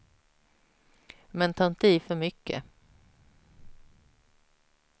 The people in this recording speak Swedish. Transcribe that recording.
Men ta inte i för mycket.